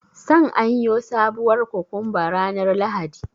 San aiyo sabuwar kokomba ranar Lahadi.